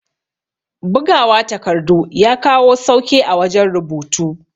Bugawa takardu ya kawo sauke a wajan rubutu